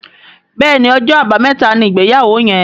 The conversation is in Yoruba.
Béèni Ọjọ́ Àbàmẹ́ta ní ìgbéyàwó yén.